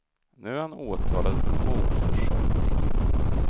Nu är han åtalad för mordförsök.